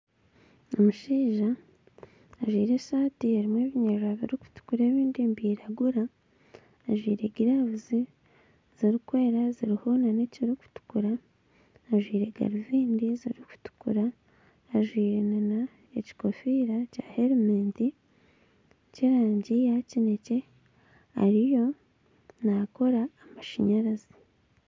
Omushaija ajwaire esaati erimu ebinyarara birikutukura ebindi nibyiragura ajwaire giravuzi zirikwera ziriho n'ekirikutukura ajwaire garubindi ziri kutukura ajwaire nekinkofiira kya helementi ky'erangi ya kinekye ariyo nakora amashanyarazi.